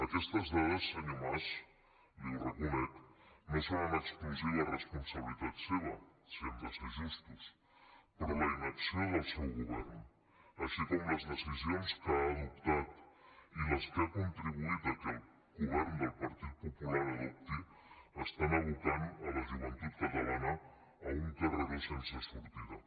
aquestes dades senyor mas li ho reconec no són en exclusiva responsabilitat seva si hem de ser justos però la inacció del seu govern així com les decisions que ha adoptat i les que ha contribuït que el govern del partit popular adopti aboquen la joventut catalana a un carreró sense sortida